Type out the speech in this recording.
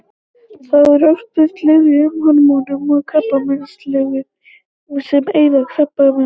Þá er oft beitt lyfjum: hormónalyfjum og krabbameinslyfjum sem eyða krabbafrumum.